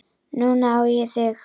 Núna á ég þig.